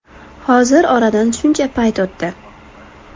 Hozir oradan shuncha payt o‘tdi.